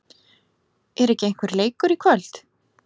Er ekki einhver leikur í kvöld?